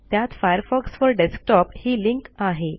त्यात Firefox four desktop ही link आहे